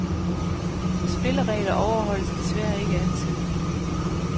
Spilleregler overholdes desværre ikke altid.